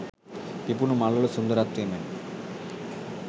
පිපුණු මල් වල සුන්දරත්වය මෙන්ම